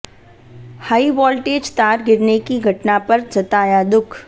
high voltage तार गिरने की घटना पर जताया दुख